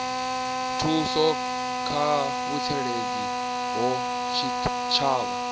thuso kha mutsireledzi wa tshitshavha